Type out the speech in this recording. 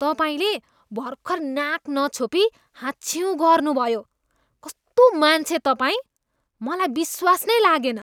तपाईँले भर्खर नाक नछोपी हाँच्छ्युँ गर्नुभयो, कस्तो मान्छे तपाईँ! मलाई विश्वास नै लागेन।